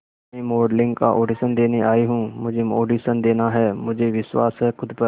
मैं मॉडलिंग का ऑडिशन देने आई हूं मुझे ऑडिशन देना है मुझे विश्वास है खुद पर